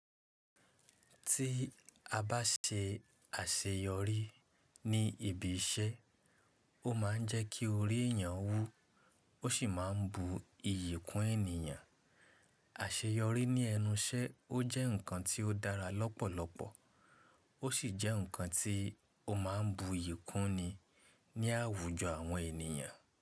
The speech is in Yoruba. Tí a bá ṣe àṣeyọrí ní ibi iṣẹ́, ó ma ń jẹ́ kí ori èèyàn wú ó sì máa ń bu iyì kún ènìyàn. Àṣeyọrí ní ẹnu iṣẹ́ ọ jẹ́ nǹkan tí ó dára lọ́pọ̀lọpọ̀, ó sì jẹ́ nǹkan tí ó máa ń bu iyì kún ni ní àwùjọ àwọn ènìyàn.